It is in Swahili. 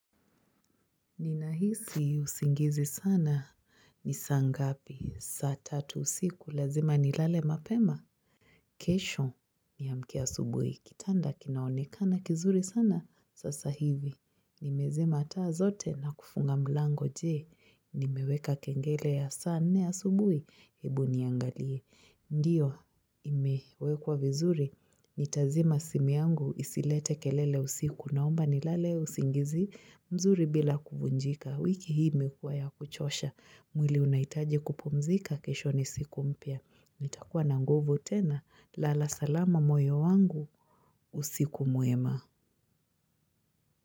Ninahisi usingizi sana ni saa ngapi. Saa tatu usiku lazima ni lale mapema. Kesho niamke asubuhi. Kitanda kinaonekana kizuri sana. Sasa hivi. Nimezima taa zote na kufunga mlango je. Nimeweka kengele ya saa nne asubuhi. Ebu niangalie. Ndiyo imewekwa vizuri, nitazima simu yangu isilete kelele usiku naomba nilale usingizi mzuri bila kuvunjika. Wiki hii imekuwa ya kuchosha, mwili unahitaji kupumzika kesho ni siku mpya. Nitakuwa na nguvu tena, lala salama moyo wangu, usiku mwema.